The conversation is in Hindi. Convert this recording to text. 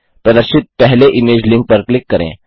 प्रदर्शित पहले इमेज लिंक पर क्लिक करें